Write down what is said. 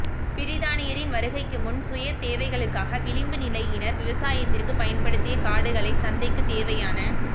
பிரித்தானியரின் வருகைக்கு முன் சுயதேவைகளுக்காக விளிம்பு நிலையினர் விவசாயத்திற்குப் பயன்படுத்திய காடுகளை சந்தைக்குத் தேவையான